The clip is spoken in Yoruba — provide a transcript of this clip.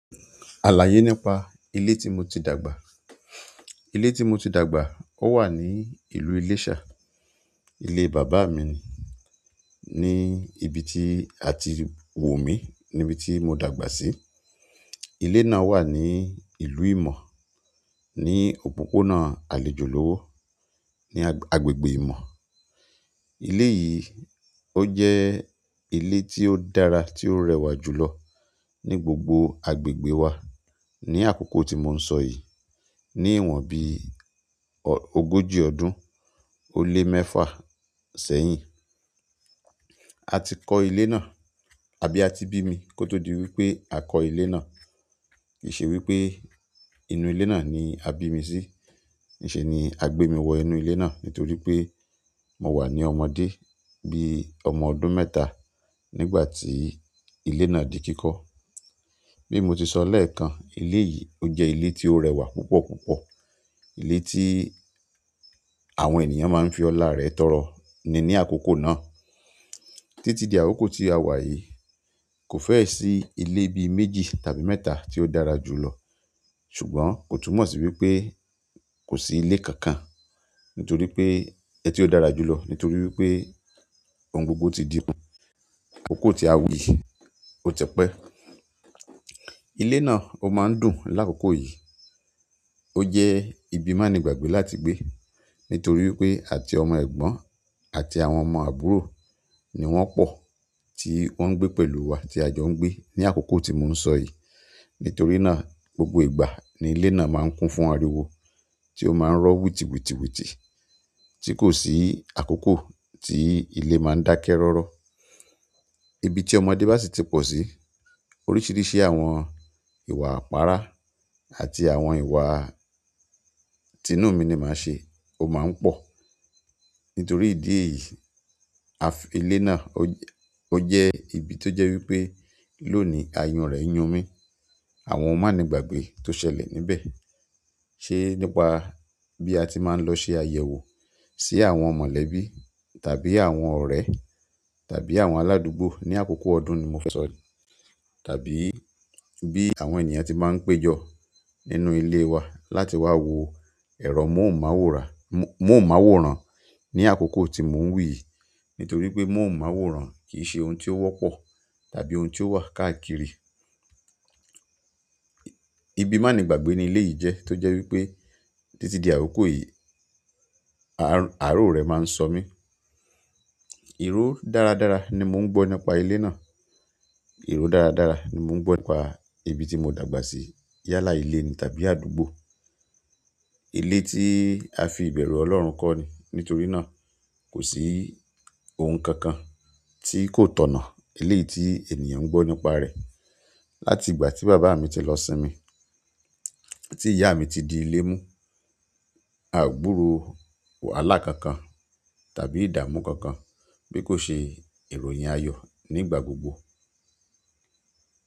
Àlàyé nípa ilé tí mo ti dàgbà. Ilé tí mo ti dàgbà, ó wà ní ìlú Iléṣà. Ilé bàbá mi ni, ní ibi tí a ti wo mí, níbi tí mo dàgbà sí. Ilé náà wà ní ìlú ìmọ̀, ní òpópónà àlejò lowo, ní agbègbè ìmọ̀. Ilé yìí, ó jẹ́ ilé tí ó dára, tí ó rẹwà jù lọ ní gbogbo agbègbè wa ní àkókò tí mò ń sọ yìí. Ní ìwòn bí ogójì ọdún ó lé mẹ́fà sẹ́yìn, a ti kọ́ ilé náà àbí a ti bí mi kó tó di wípé a kọ́ ilé náà. Kì í ṣe wípé inú ilé náà ni a bí mi sí, kì í ṣe ni a gbé mi wọ inú ilé náà nítorí pé mò wà ní ọmọdé bí ọmọ ọdún mẹ́ta nígbà tí ilé náà di kíkọ́. Bí mo ti sọ lẹ́ẹ̀kan, ilé yìí ó jẹ́ ilé tí ó rẹwà púpọ̀ púpọ̀. Ilé tí àwọn ènìyàn máa ń fi ọlá rẹ̀ tọrọ ni ní àkókò náà. Títí di àkókò tí a wà yìí, kò fẹ́ sì ilé bí méjì tàbí mẹ́ta tí ó dára jù lọ. Ṣùgbọ́n kò túmọ̀ sí wípé kò sí ilé kankan nítorí pé ẹ́ tí ó dára jù lọ nítorí wípé ohun gbogbo ti di-- kòkò tí a wù yìí ó ti pẹ́. Ilé náà ó máa ń dùn lákòókò yìí. Ó jẹ́ ibi mànígbàgbé láti gbé nítorí wípé àti ọmọ ẹ̀gbọ́n àti àwọn ọmọ àbúrò ni wọ́n pọ̀ tí wọ́n ń gbé pẹ̀lú wa tí a jọ ń gbé ní àkókò tí mò ń sọ yìí. Nítorí náà, gbogbo ìgbà ni ilé náà máa ń kún fún ariwo tí ó máa ń rọ wùtìwùtìwùtì tí kò sí àkókò tí ilé máa ń dákẹ́ rọ́rọ́. Ibi tí ọmọdé bá sì ti pọ̀ sí, oríṣìíríṣìí àwọn ìwà àpáárá àti àwọn ìwà tí inúùmi ni màá ṣe ó máa ń pọ̀. Nítorí ìdí èyí, ìle náà ó jẹ́ ibi tó jẹ́ wípé lónìí ayùn rẹ̀ ń yún mi. Àwọn mànígbàgbé tó ṣẹlẹ̀ níbẹ̀, ṣe nípa bí a ti máa ń lọ ṣe àyẹ̀wò sí àwọn mọ̀lẹ́bí tàbí àwọn ọ̀rẹ́ tàbí àwọn aládùúgbò ní àkókò ọdún ni mo fẹ́ sọ, tàbí bí àwọn ènìyàn ti máa ń péjọ nínú ilé wa láti wá wo ẹ̀rọ móhùnmàwòrán móhùnmáwòrán ní àkókò tí mò ń wí yìí. Nítorí pé móhùnmáwòrán kì í ṣe ohun tí ó wọ́pọ̀ tàbí ohun tí ó wà káàkiri. Ìbí mani gbàgbé ni ilé yìí jẹ ti jẹ wípé titi di akoko yìí àárò rẹ máà sọ mí. Ìró dáradára ní mo n gbọ nípa ilé náà, iró dáradára ni mó n gbọ nípa ìbí to mó dàgbà sí, yálà ilé ni tàbí àdúgbò ilé tí a fi ìbẹ̀rù Ọlọ́run kọ́ ni. Nítorí náà, kò sí ohun kankan tí kò tọ̀nà. Eléyi tí ènìyàn ń gbọ́ nípa rẹ̀. Láti ìgbà tí bàbá mi ti lọ sinmi, tí ìyá mi ti di ilé mú, àgbúrò wàhálà kankan tàbí ìdààmú kankan bí kò ṣe ìròyìn ayọ̀ nígbà gbogbo.